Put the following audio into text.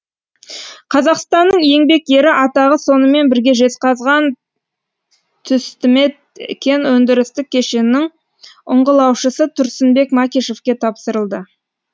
қазақстанның еңбек ері атағы сонымен бірге жезқазған түсті мет кен өндірістік кешенінің ұңғылаушысы тұрсынбек макишевке тапсырылды